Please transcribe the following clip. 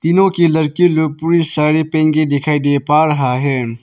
क्योंकि लड़की लोग पूरी साड़ी पहन के दिखाई दे पा रहा है।